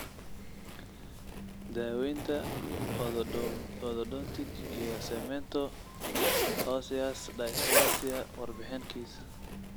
Daaweynta Orthodontic iyo cemento osseous dysplasia: warbixin kiis.